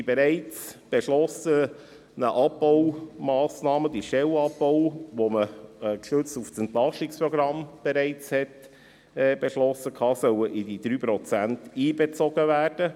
Die bereits beschlossenen Abbaumassnahmen, der Stellenabbau, den man bereits gestützt auf das Entlastungsprogramm beschlossen hatte, soll in die 3 Prozent einbezogen werden.